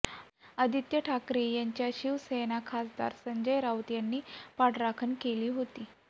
आदित्य ठाकरे यांची शिवसेना खासदार संजय राऊत यांनी पाठराखण केली होती